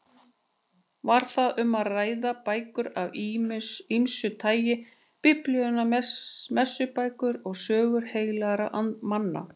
Var þar um að ræða bækur af ýmsu tagi: Biblíuna, messubækur og sögur heilagra manna.